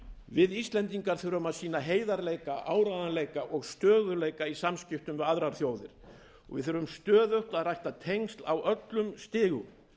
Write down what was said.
við íslendingar þurfum að sýna heiðarleika áreiðanleika og stöðugleika í samskiptum við aðrar þjóðir við þurfum stöðugt að rækta tengsl á öllum stigum